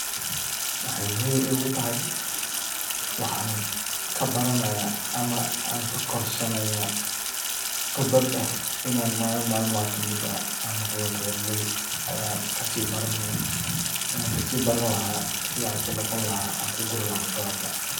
Waxay muhiim ii gu tahay waxaan kabaranaya ama aan kakorsanaya qibrad eh in malin malmaha kamid ah aan noqda beeralay ayan kasii barani sidaan ku noqon laha aan kuguri laha dalaga.